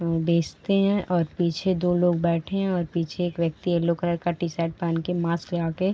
मम बेचते हैं और पीछे दो लोग बैठे हैं और पीछे एक व्यक्ति यैल्लो कलर का टी-शर्ट पेहन के मास्क लगा के --